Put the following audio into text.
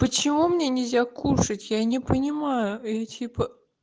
почему мне нельзя кушать я не понимаю я типа